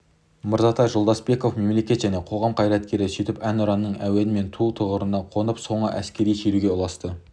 мырзатай жолдасбеков мемлекет және қоғам қайраткері сөйтіп әнұранның әуенімен ту тұғырына қонып соңы әскери шеруге ұласты